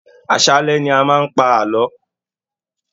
Àṣálẹ́ ni a máa ń pa àlọ́